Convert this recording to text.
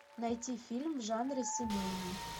найти фильм в жанре семейный